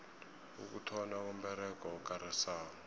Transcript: ukuthonnywa komberego okarisako